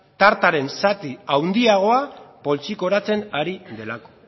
tartaren zati handiagoa poltsikoratzen ari delako